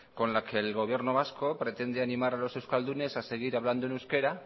con el que el gobierno vasco pretende animar a los euskaldunes a seguir hablando en euskera